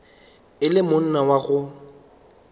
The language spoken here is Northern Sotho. e le monna wa go